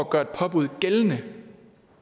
gøre et påbud gældende